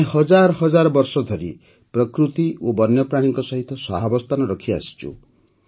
ଆମେ ହଜାର ହଜାର ବର୍ଷ ଧରି ପ୍ରକୃତି ଓ ବନ୍ୟପ୍ରାଣୀଙ୍କ ସହିତ ସହାବସ୍ଥାନ ରଖି ରହିଆସିଛୁ